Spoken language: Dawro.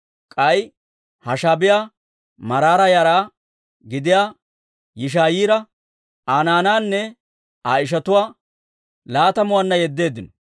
K'ay Hashaabiyaa, Maraara yara gidiyaa Yishaa'iyaara, Aa naanaanne Aa ishatuwaa laatamuwaanna yeddeeddino.